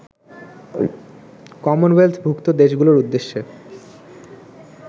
কমনওয়েলথভুক্ত দেশগুলোর উদ্দেশ্যে